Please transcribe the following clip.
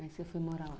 Aí você foi morar lá.